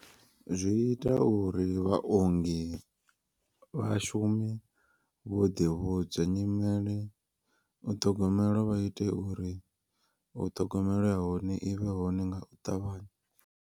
Zwi ita uri vhaongi vhashumi vho ḓivhudza nyimele u ṱhogomela vha ite uri u ṱhogomela ya hone i vhe hone nga u ṱavhanya.